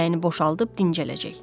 Ürəyini boşaldıb dincələcək.